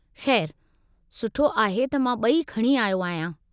खै़रु सुठो आहे त मां ॿई खणी आहियो आहियां।